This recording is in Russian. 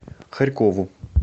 харькову